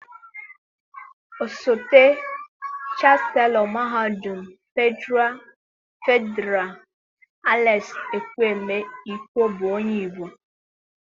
Osote Chaselo Mahadum Fedịral Alex Ekwueme Ikwo bụ onye Igbo.